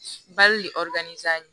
Bali